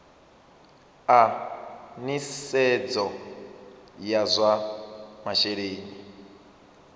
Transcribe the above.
a nisedzo ya zwa masheleni